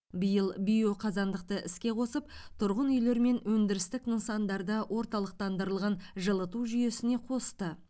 биыл биоқазандықты іске қосып тұрғын үйлер мен өндірістік нысандарды орталықтандырылған жылыту жүйесіне қосты